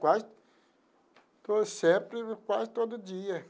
Quase... Sempre, quase todo dia.